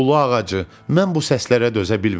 Hulu ağacı, mən bu səslərə dözə bilmirəm.